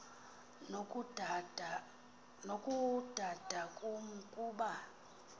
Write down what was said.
nokudada kum kuba